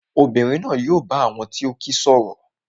Obìnrin náà yóò bá àwọn tó kíi sọ̀rọ̀